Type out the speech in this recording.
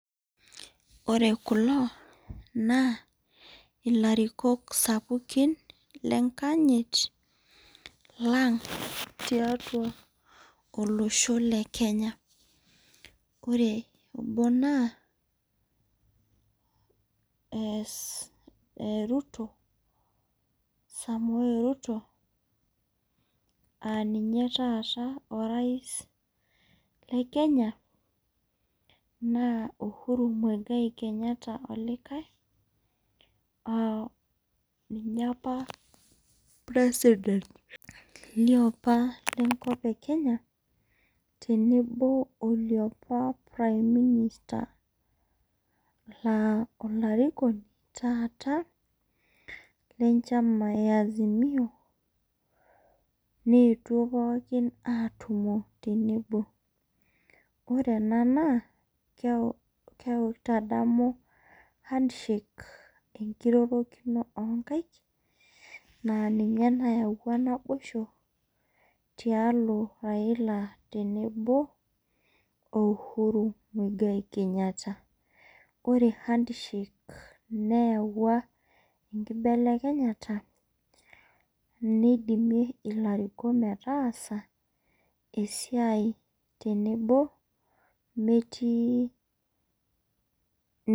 Ore kulo naa ilarikok sapukin lenkayit lang tiatau olosho le kenya. ore obo naa ruto samoei ruto.aa ninye taata orais le Kenya naa uhuru muigai olikae. ninye apa president lenkop e Kenya .tenebo oliapa prime minister laa olarikoni taata, lenchama e azimio. neetuo pookin aatumo tenebo. ore ena na amekuja kitadamu handshake enkirorokino oo nkaik.aa ninye nayawua naboisho tialo raila tenebo o uhuru muigai Kenyatta .ore handshake neyawua enkibelekenyata esiai tenebo metii.